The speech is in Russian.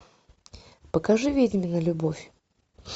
покажи ведьмина любовь